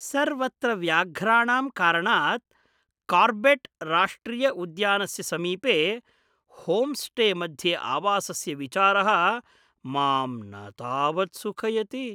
सर्वत्र व्याघ्राणां कारणात् कार्बेट् राष्ट्रिय उद्यानस्य समीपे होम्स्टे मध्ये आवसस्य विचारः मां न तावत् सुखयति।